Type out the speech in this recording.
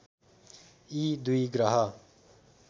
यी दुई ग्रह